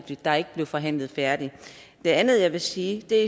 der ikke blev forhandlet færdigt det andet jeg vil sige er